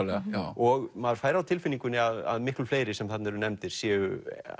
og maður fær á tilfinninguna að miklu fleiri sem þarna eru nefndir séu